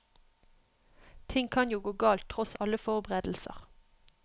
Ting kan jo gå galt tross alle forberedelser.